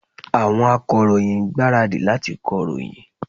Àwọn Akọ̀ròyìn ń gbáradì láti kọ ìròyìn